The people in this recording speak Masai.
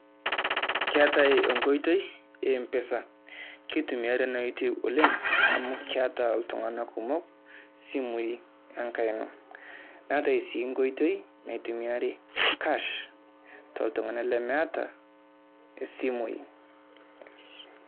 Keetai enkoitoi e Mpesa, keitumiari ina oitoi oleng' amu keeta iltung'anak kumok simui enkaina. Neetai sii nkoitoi naitumiari Cash tooltung'anak lemeeta isimui.